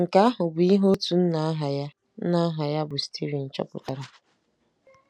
Nke ahụ bụ ihe otu nna aha nna aha ya bụ Steven chọpụtara.